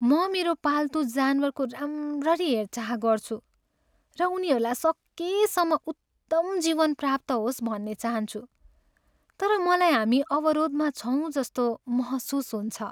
म मेरो पाल्तु जानवरको राम्ररी हेरचाह गर्छु र उनीहरूलाई सकेसम्म उत्तम जीवन प्राप्त होस् भन्ने चाहन्छु, तर मलाई हामी अवरोधमा छौँ जस्तो महसुस हुन्छ।